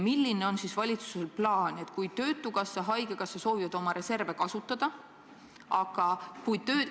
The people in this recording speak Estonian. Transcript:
Milline on valitsuse plaan ajaks, kui töötukassa ja haigekassa soovivad oma reserve kasutada?